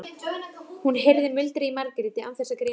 Hún heyrði muldrið í Margréti án þess að greina orðaskil.